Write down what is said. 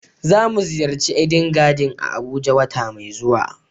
za mu ziyarci "Eden garden" a abuja wata mai zuwa.